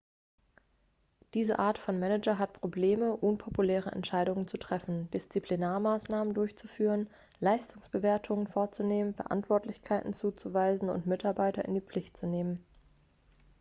diese art von manager hat probleme unpopuläre entscheidungen zu treffen disziplinarmaßnahmen durchzuführen leistungsbewertungen vorzunehmen verantwortlichkeiten zuzuweisen und mitarbeiter in die pflicht zu nehmen